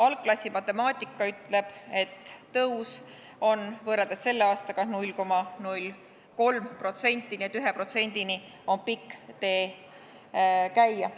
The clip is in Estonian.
Algklassi matemaatika ütleb, et tõus on võrreldes selle aastaga 0,03%, nii et 1%-ni on pikk tee käia.